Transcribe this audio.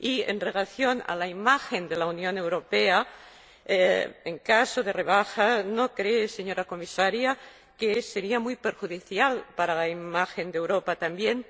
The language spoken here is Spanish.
En relación con la imagen de la Unión Europea, en caso de rebaja, ¿no cree, señora Comisaria, que sería muy perjudicial para la imagen de Europa también?